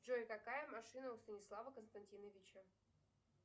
джой какая машина у станислава константиновича